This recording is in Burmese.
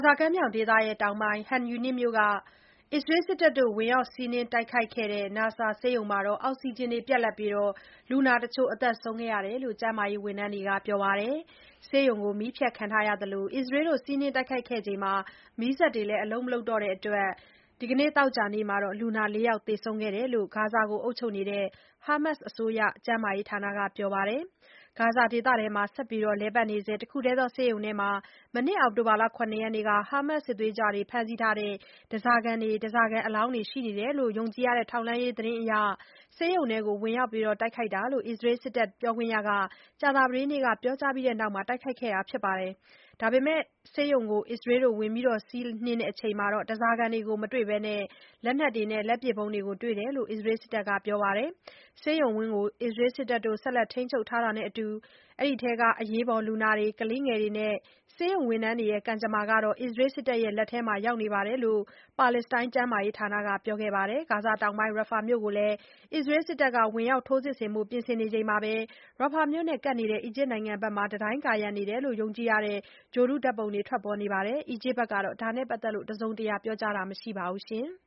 ဇာကမ်းမြောင်ဒေသတောင်ပိုင်း Khan Yunis မြို့က အစ္စရေးစစ်တပ် ဝင်ရောက် စီးနင်းတိုက်ခိုက်ခဲ့တဲ့ Nasser ဆေးရုံမှာ အောက်စီဂျင်ပြတ်ပြီး လူနာတချို့ သေဆုံးခဲ့တယ်လို့ ကျန်းမာရေးဝန်ထမ်းတွေက ပြောပါတယ်။ ဆေးရုံမှာ မီးဖြတ်ခံထားရသလို အစ္စရေးတို့ စီးနင်းခဲ့ပြီးနောက် မီးစက်တွေလည်း အလုပ် မလုပ်တော့တဲ့အတွက် ဒီနေ့ သောကြာနေ့မှာ လူနာ ၄ ယောက်သေဆုံးခဲ့တယ်လို့ ဂါဇာကို အုပ်ချုပ်နေတဲ့ Hamas အစိုးရ ကျန်းမာရေးဌာနက ပြောပါတယ်။ ဂါဇာဒေသထဲမှာ ဆက်လက်လည်ပတ်နေဆဲ တခုထဲသော ဆေးရုံထဲမှာ မနှစ် အောက်တိုဘာ ၇ ရက်က Hamas စစ်သွေးကြွတွေ ဖမ်းဆီးထားတဲ့ ဓါးစာခံတွေ၊ ဓါးစာခံအလောင်းတွေရှိနေတယ်လို့ ယုံကြည်ရတဲ့ ထောက်လှမ်းရေးသတင်းအရ ဆေးရုံထဲကို ဝင်ရောက်တိုက်ခိုက်တာဖြစ်တယ်လို့ အစ္စရေး စစ်တပ်ပြောခွင့်ရက ကြာသပတေးနေ့က ပြောကြားပြီး တိုက်ခိုက်ခဲ့တာပါ။ ဒါပေမဲ့ ဆေးရုံကို ဝင်စီးပြီးနောက်မှာတော့ ဓါးစာခံတွေကို မတွေ့ဘဲ လက်နက်တွေ၊ လက်ပစ်ဗုံးတွေ တွေ့တယ်လို့ အစ္စရေးစစ်တပ်က ပြောပါတယ်။ ဆေးရုံဝန်းကို အစ္စရေးစစ်တပ် ဆက်လက်ထိန်းချုပ်ထားတာနဲ့အတူ အထဲက အရေးပေါ် လူနာတွေ၊ ကလေးငယ်တွေနဲ့ ဆေးရုံဝန်ထမ်းတွေရဲ့ ကံကြမ္မာဟာ အစ္စရေးစစ်တပ်လက်ထဲရောက်နေတယ်လို့ ပါလက်စတိုင်းကျန်းမာရေးဌာနက ပြောကြားခဲ့ပါတယ်။ ဂါဇာတောင်ပိုင်းက Rafah မြို့ကိုလည်း အစ္စရေးစစ်တပ်က ဝင်ရောက် ထိုးစစ်ဆင်ဖို့ ပြင်ဆင်နေချိန်မှာပဲ Rafah မြို့နဲ့ကပ်နေတဲ့ အီဂျစ်နိုင်ငံဘက်က တံတိုင်းကာရံနေတယ်လို့ ယုံကြည်ရတဲ့ ဂြိုလ်တုဓါတ်ပုံတွေ ထွက်ပေါ်လာပါတယ်။ အီဂျစ်အစိုးရဘက်ကတော့ ဒါနဲ့ပတ်သက်လို့ တစုံတရာ ပြောကြားခြင်း မရှိသေးပါဘူး။